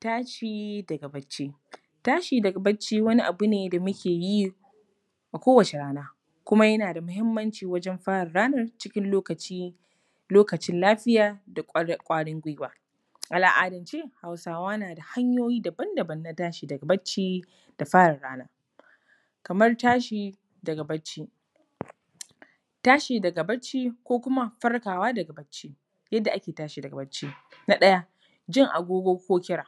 Tashi daga barci. Tashi daga barci wani abu ne da muke yi a kowace rana, kuma yana da muhimmanci wajen fara ranar cikin lokaci lokacin lafiya da ƙwarin gwiwa. A al’adance, Hausawa na da hanyoyi daban daban na tashi daga barci da fara rana. Kamar tashi daga barci. Tashi daga barci ko kuma farkawa daga barci. Yadda ake tashi daga barci:- Na ɗaya, jin agogo ko kira: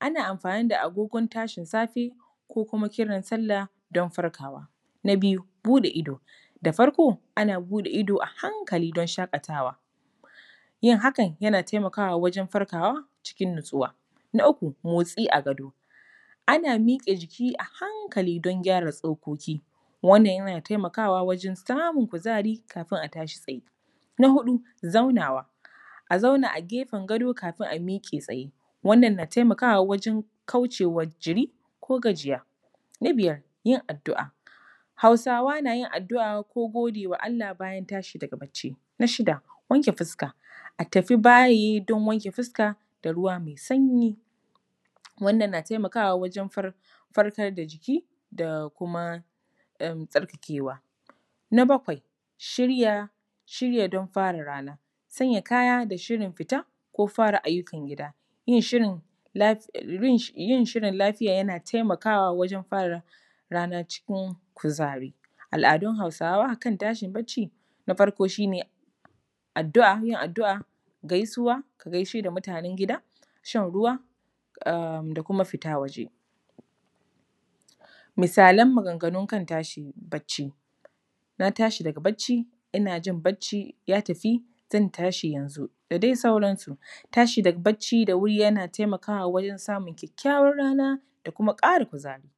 ana amfani da agogon tashin safe, ko kuma kiran Sallah don farkawa. Na biyu, buɗe ido: da farko, ana buɗe ido a hankali don shaƙatawa. Yin hakan, yana taimakawa wajen farkawa cikin natsuwa. Na uku, motsi a gado: ana miƙe jiki a hankali don gyara tsokoki. Wannan yana taimakawa wajen samun kuzari, kafin a tashi tsaye. Na huɗu, zaunawa: a zauna a gefen gado kafin a miƙe tsaye. Wannan na taimakawa wajen kauce wa jiri ko gajiya. Na biyar, yin addu’a: Hausawa na yin addua’a ko gode wa Allah bayan tashi daga barci. Na shida, wanke fuska: a tafi bayi don wanke fuska da ruwa mai sanyi. Wannan na taimakawa wajen farkar da jiki da kuma tsarkakewa. Na bakwai. Shirya don fara rana: sanya kaya da shirin fita ko fara ayyukan gida. Yin shirin lafiya yana taimakawa wajen fara rana cikin kuzari. Al’adun Hausawa kan tashi barci, na farko shi ne addu’a, yin addu'a gaisuwa, gaishe da mutanen gida, shan ruwa da kuma fita waje. Misalan maganganun kan tashi barci: na tsahi daga barci, ina jin barci, ya tafi, zan tashi yanzu da dai sauransu. Tashi da wuri daga barci yana taimakawa wajen samun kyakkyawar rana da kuma ƙara kuzari.